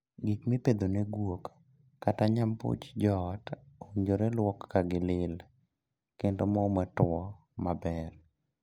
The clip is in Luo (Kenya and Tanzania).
Gik mipedho ne guok kata nyambuch joot owinjore luoki ka gilil, kendo moo matuo maber.